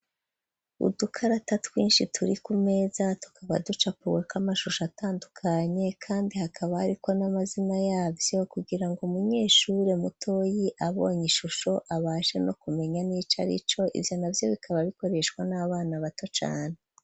Udukarata twinshi turi kumeza, tukaba ducapuweko amashusho atandukanye, kandi hakaba hariko n'amazina yavyo, kugira ngo umunyeshure mutoyi abonye ishusho abashe no kumenya n'ico ari co, ivyona vyo bikaba bikoreshwa n'abana bato cane.